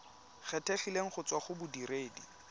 kgethegileng go tswa go bodiredi